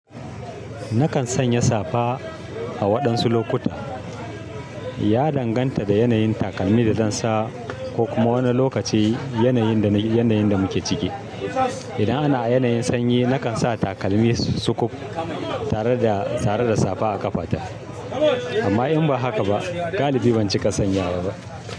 Nakan sanya safa a waɗansu lokuta. Ya danganta da yanayin takalmin da zan sa ko kuma wani lokaci yanayin da muke ciki. Idan ana yanayin sanyi nakan sa takalmi sukud tare da safa a ƙafata amma in ba haka ba galibi ban cika sanyawa ba.